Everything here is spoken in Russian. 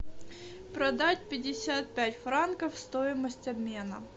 продать пятьдесят пять франков стоимость обмена